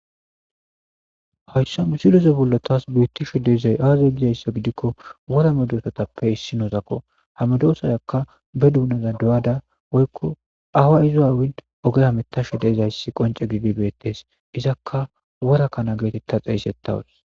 hayssa siloso bullo taas brittisho dezay aaza gizayssa gidikko worame doosatappe issi noozakko hamedoosayakka be duunaza do7ada woykko awa izo aawind oge hametasho dezayssi qonce gibibeettes izakka wora kana geetetta xeeysettawus